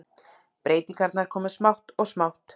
Breytingarnar komu smátt og smátt.